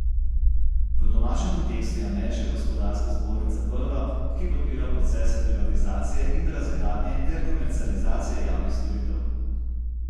V domačem kontekstu je ameriška gospodarska zbornica prva, ki podpira procese privatizacije in razgradnje ter komercializacije javnih storitev.